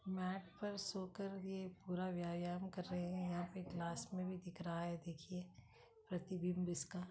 मैट पर सो कर ये पूरा व्यायाम कर रहे हैं यहाँ पे ये ग्लास में भी दिख रहा है देखिए प्रतिबिंब इसका।